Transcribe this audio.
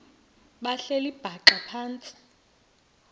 behleli bhaxa phantsi